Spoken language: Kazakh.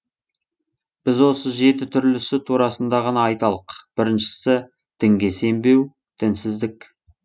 біз осы жеті түрлісі турасында ғана айталық біріншісі дінге сенбеу дінсіздік